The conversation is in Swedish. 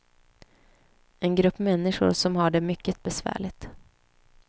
En grupp människor som har det mycket besvärligt.